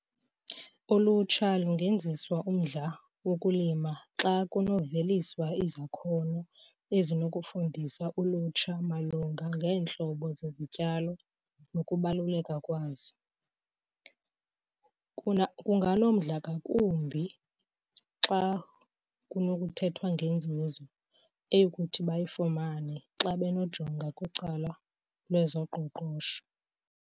Ulutsha lungenziswa umdla wokulima xa kunokuveliswa izakhono ezinokufundisa ulutsha malunga ngeentlobo zezityalo nokubaluleka kwazo. Kunganomdla ngakumbi xa kunokuthethwa ngenzuzo eyokuthi bayifumane xa benojonga kwicala lwezoqoqosho.